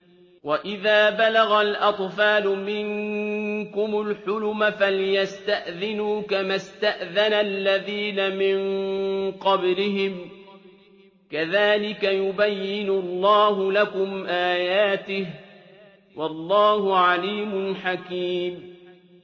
وَإِذَا بَلَغَ الْأَطْفَالُ مِنكُمُ الْحُلُمَ فَلْيَسْتَأْذِنُوا كَمَا اسْتَأْذَنَ الَّذِينَ مِن قَبْلِهِمْ ۚ كَذَٰلِكَ يُبَيِّنُ اللَّهُ لَكُمْ آيَاتِهِ ۗ وَاللَّهُ عَلِيمٌ حَكِيمٌ